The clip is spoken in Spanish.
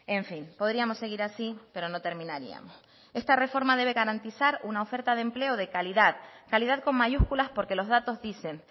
en fin podríamos seguir así pero no terminaríamos esta reforma debe garantizar una oferta de empleo de calidad calidad con mayúsculas porque los datos dicen